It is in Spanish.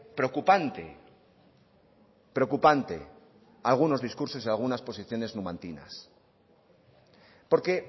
preocupante preocupante algunos discursos y algunas posiciones numantinas porque